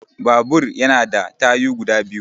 Babur ya na da tayu guda biyu